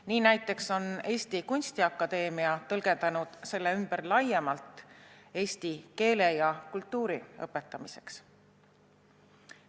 Nii näiteks on Eesti Kunstiakadeemia tõlgendanud selle ümber laiemalt eesti keele ja kultuuri õpetamiseks.